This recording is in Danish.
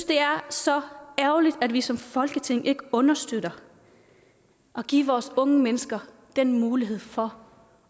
det er så ærgerligt at vi som folketing ikke understøtter at give vores unge mennesker den mulighed for